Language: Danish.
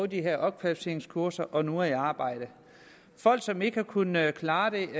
de her opkvalificeringskurser og som nu er i arbejde folk som ikke havde kunnet klare det ikke